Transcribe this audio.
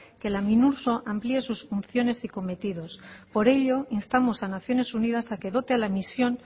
que la minurso funciones y cometidos por ello instamos a naciones unidas a que dote a la misión